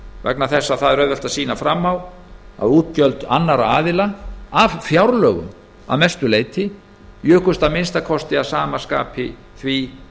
vegna þess að það er auðvelt að sýna fram á að útgjöld annarra aðila af fjárlögum að mestu leyti jukust að minnsta kosti að sama skapi því